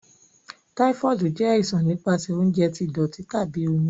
Typhoid jẹ aisan nipasẹ ounjẹ ti doti tabi omi.